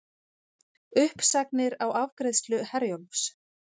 Uppsagnir á afgreiðslu Herjólfs